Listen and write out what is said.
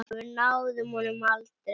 Og við náðum honum aldrei.